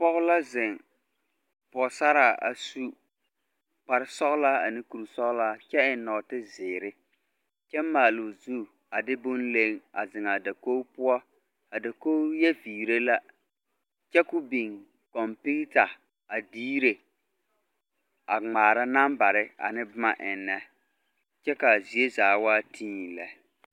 Pͻge la zeŋe, pͻgesaraa a su kpare sͻgelaa ane kuri sͻgelaa kyԑ eŋ nͻͻte zeere kyԑ maale o zu a de boŋ leŋ a zeŋe a dakogi poͻ, a dakogi yԑ viire la kyԑ ko o biŋ kͻmpiita a diire a ŋmaara nambare ane boma ennԑ kyԑ ka a zie zaa waa tii lԑ.